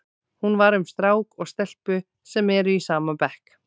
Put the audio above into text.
Hún var um strák og stelpu sem eru í sama bekk.